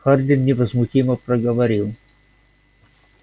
хардин невозмутимо проговорил